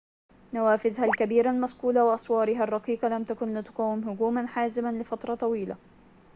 نوافذها الكبيرة المصقولة وأسوارها الرقيقة لم تكن لتقاوم هجوماً حازماً لفترة طويلة